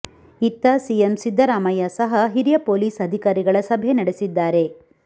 ಇತ್ತ ಸಿಎಂ ಸಿದ್ದರಾಮಯ್ಯ ಸಹ ಹಿರಿಯ ಪೊಲೀಸ್ ಅಧಿಕಾರಿಗಳ ಸಭೆ ನಡೆಸಿದ್ದಾರೆ